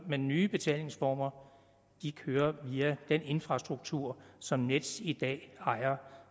med nye betalingsformer kører via den infrastruktur som nets i dag ejer